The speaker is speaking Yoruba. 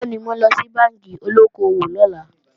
Bẹ́ẹ̀ni, wọ́n ńlọ sí bánkì olóko-òwò lọ́la